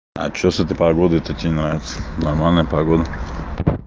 а что с этой погодой тебе не нравится нормальная погода